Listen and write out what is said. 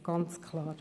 Das ist ganz klar.